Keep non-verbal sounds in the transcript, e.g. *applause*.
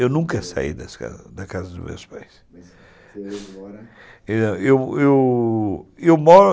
Eu nunca saí das casas dos meus pais. *unintelligible* eu eu eu eu moro